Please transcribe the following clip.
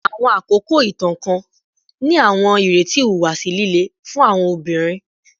Awọn akoko itan kan ni awọn ireti ihuwasi lile fun awọn obinrin